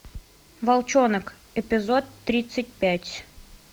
волчонок эпизод тридцать пять